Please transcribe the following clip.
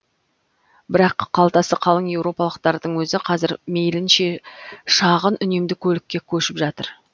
бірақ қалтасы қалың еуропалықтардың өзі қазір мейлінше шағын үнемді көлікке көшіп жатыр